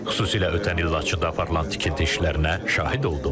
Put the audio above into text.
Xüsusilə ötən il Laçında aparılan tikinti işlərinə şahid oldum.